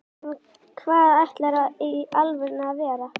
en hvað ætlarðu í alvörunni að verða?